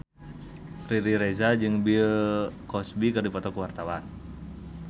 Riri Reza jeung Bill Cosby keur dipoto ku wartawan